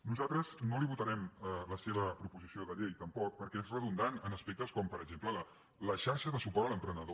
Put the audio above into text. nosaltres no li votarem la seva proposició de llei tampoc perquè és redundant en aspectes com per exemple la xarxa de suport a l’emprenedor